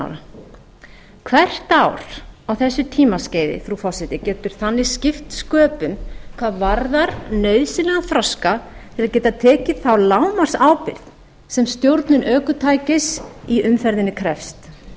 ára hvert ár á þessu tímaskeiði frú forseti getur þannig skipt sköpum hvað varðar nauðsynlegan þroska til að geta tekið þá lágmarksábyrgð sem stjórnun ökutækis í umferðinni krefst